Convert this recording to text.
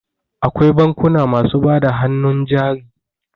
Akwai bankuna masu bada hannun jari.